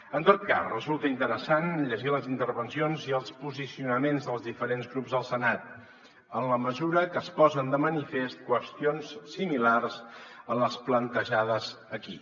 en tot cas resulta interessant llegir les intervencions i els posicionaments dels diferents grups al senat en la mesura que es posen de manifest qüestions similars a les plantejades aquí